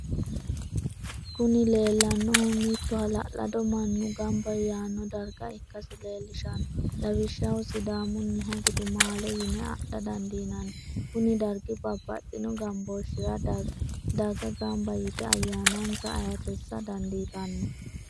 Kuni leelanohu mito halalado manu gamba yaano dariga ikkasi leelishano lawishaho sidamuniha gudumaale yine adha dandinnani kuni darigi babaxino gambooshirra daga gamba yite ayaana'nisa ayyiirissa dandiitanno